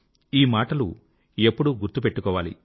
ఈ మాటలు ఎప్పుడూ గుర్తు పెట్టుకోవాలి